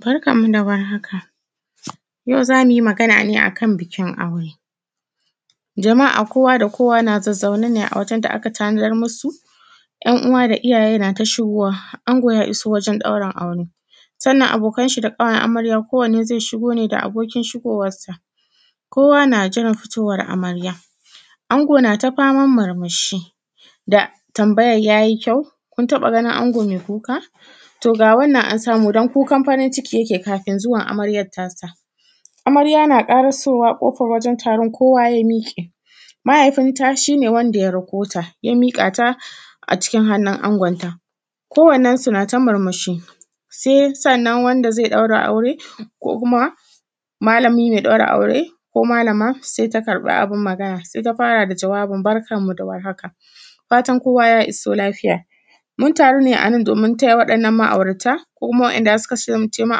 Barkan mu dawar haka yau zamuyi Magana ne akan bikin aure jama’a kowa da kowa na zazaune ne wajen da’aka tanazar musu. ‘yan’ uwa da iyyaye nata shigowa ango ya iso wajen ɗaurin aure, sannan abokai da ƙawayen amarya ko wannane zai shigo ne da abokin shigowarsa. Kowa na jiran fitowar amarya, ango nata faman murmushi da tambayan yayi kyau? kuntaɓa ganin ango mai kuka to ga wannan an samu dan kukan farin ciki yake kafin zuwan amaryan tasa. Amarya na ƙari kowa kofar wajen taron kowa ya miƙe mahaifin ta shine wanda ya rakota ya miƙata a cikin hannin angonta, ko wannensu nata murmushi sai sannan wanda zai ɗaura aure ko kuma malami mai ɗaura aure ko malama ta karɓi abin Magana, saita fara da jawabin barkanmu dawar haka fatan kowa ya iso lafiya. muntaru ne anan domin taya wannan ma aurata ko kuma wa ‘yan’ da suka kasance ma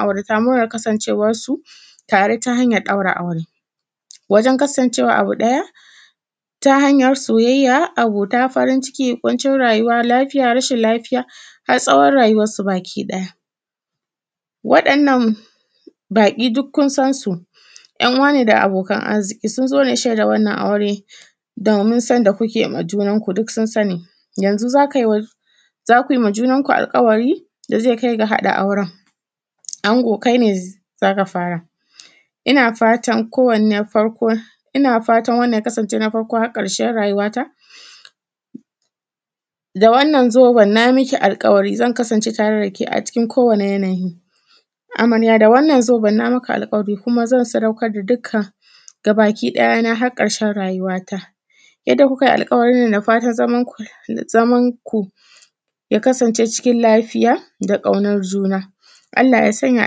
aurata murnan kasancewar su tare ta hanyan ɗaura aure, wajen kasancewa abu ɗaya ta hanyar soyayya, abota, farin ciki, kuncin rayuwa, lafiya, rashin lafiya har tsawon rayuwan su baki ɗaya. Waɗannan baƙi dukkun sansu ‘yan’ uwane da abokan arziƙi sunzo ne shaida wannan aure domin sonda kukewa junanku duksun sani. Yanzu zakuima junan ku alƙawari dazai kaiga haɗa auren, ango kaine zaka fara innafatan ko wannan na farko har ƙarshen rayuwata, da wannan zoben nayi miki alƙawari zan kasance tare dake a cikinko wani yanayi. Amarya da wannan alƙari kuma zan sadaukar da gabaki ɗaya na har karshen rayuwa ta. Yanda kukai alƙawarinnan dafatan zamanku ya kasance lafiya da kaunar juna. Allah ya sanya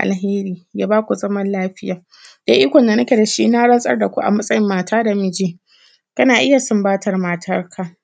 alheri ya baku zaman lafiya, da ikon da nike dashi na rantsar daku a matsayin mata da miji kana iyya sumbatar matarka.